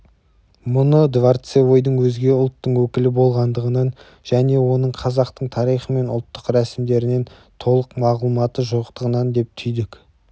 мұны дворцевойдың өзге ұлттың өкілі болғандығынан және оның қазақтың тарихы мен ұлттық рәсімдерінен толық мағлұматы жоқтығынан деп түйдік